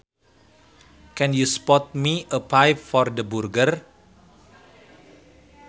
Can you spot me a five for the burger